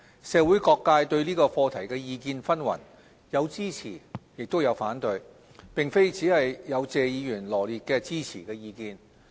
社會各界對這課題的意見紛紜，有支持亦有反對，並非只有謝議員羅列的支持意見。